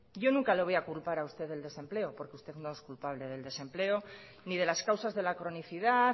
yo nunca le voy a culpar a usted del desempleo porque usted no es culpable del desempleo ni de las causas de la cronicidad